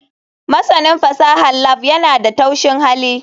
Masanin fasahar lab yana da taushin hali.